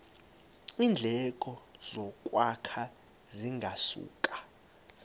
iindleko zokwakha zingasuka